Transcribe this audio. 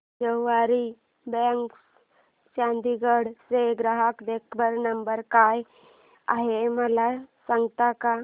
सवारी cabs Chandigarh चा ग्राहक देखभाल नंबर काय आहे मला सांगता का